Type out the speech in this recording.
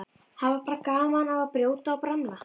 Hafa bara gaman af að brjóta og bramla.